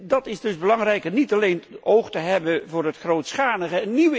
Het is dus belangrijk niet alleen oog te hebben voor het grootschalige.